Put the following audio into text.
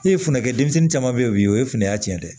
E ye funukɛ denmisɛnnin caman be ye o bi o ye fununya ci ye dɛ